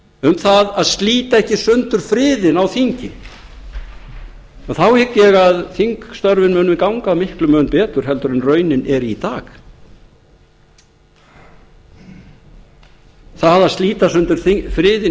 um það að slíta ekki sundur friðinn á þingi og þá hygg ég að þingstörfin munu ganga miklum mun betur heldur en raunin er í dag það að slíta sundur friðinn